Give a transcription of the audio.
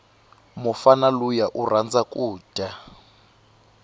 mufana luya urhandza kuja